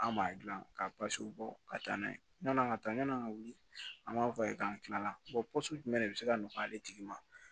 An m'a gilan ka bɔ ka taa n'a ye yann'an ka taa yan'an ka wuli an b'a f'a ye k'an kilala pɔsi jumɛn de bɛ se ka nɔgɔya ale tigi ma